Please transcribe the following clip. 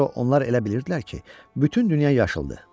Buna görə onlar elə bilirdilər ki, bütün dünya yaşıldı.